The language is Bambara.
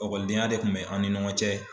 Ɔkɔlidenya de kun bɛ an ni ɲɔgɔn cɛ.